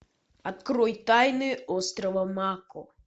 открой тайны острова мако